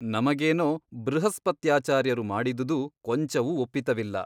ನಮಗೇನೋ ಬೃಹಸ್ಪತ್ಯಾಚಾರ್ಯರು ಮಾಡಿದುದು ಕೊಂಚವೂ ಒಪ್ಪಿತವಿಲ್ಲ.